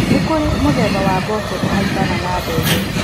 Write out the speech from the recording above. Nĩkũrĩ mũthemba wa mboco ũhaimbaga na mbembe.